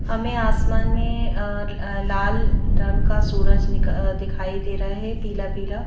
हमें आसमान में अ अ लाल रंग का सूरज निक अ दिखाई दे रहा है पीला-पीला।